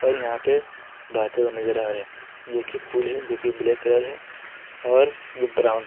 यहां पे बहते हुए नजर आ रहे हैं जो की पुल है जो की ब्लैक कलर है और ब्राउन --